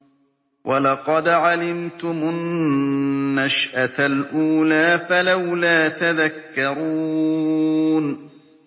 وَلَقَدْ عَلِمْتُمُ النَّشْأَةَ الْأُولَىٰ فَلَوْلَا تَذَكَّرُونَ